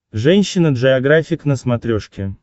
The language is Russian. женщина джеографик на смотрешке